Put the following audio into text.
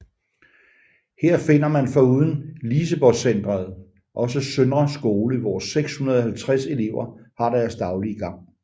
Her finder man foruden Liseborgcentret også Søndre Skole hvor 650 elever har deres daglige gang